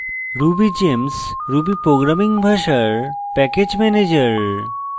rubygems ruby programming ভাষার package manager